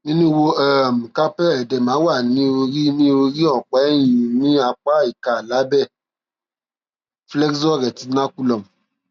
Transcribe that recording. ní inú ihò um carpal edema wà ní orí ní orí ọpá ẹyìn ní apá ìka lábẹ flexor retinaculum